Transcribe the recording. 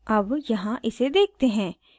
अब यहाँ इसे देखते हैं